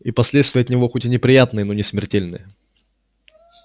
и последствия от него хоть и неприятные но не смертельные